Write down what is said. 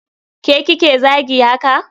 Ke kike zagi haka?